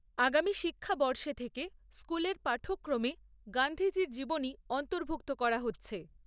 আগামী শিক্ষাবর্ষে থেকে স্কুলের পাঠ্যক্রমে গান্ধীজির জীবনী অন্তর্ভূক্ত করা হচ্ছে ।